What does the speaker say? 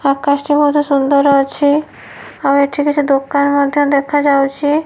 ଆକାଶ ଟି ମଧ୍ୟ ସୁନ୍ଦର ଅଛି ଆଉ ଏଠି କିଛି ଦୋକାନ ମଧ୍ୟ ଦେଖାଯାଉଛି।